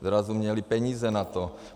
Zrazu měli peníze na to.